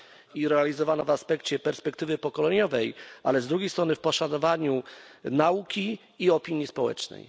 i realizowana w aspekcie perspektywy pokoleniowej, ale z drugiej strony na poszanowaniu nauki i opinii społecznej.